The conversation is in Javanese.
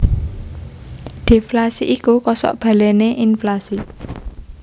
Deflasi iku kosok balené inflasi